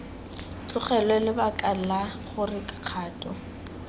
tlogelwe lebaka la gore kgato